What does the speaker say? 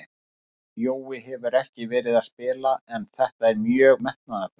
Jói hefur ekki verið að spila en þetta var mjög metnaðarfullt.